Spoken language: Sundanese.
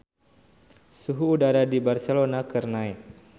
Suhu udara di Barcelona keur naek